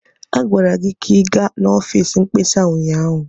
Agwara gị ka ị gaa n'ọfịs mkpesa ụnyaahụ!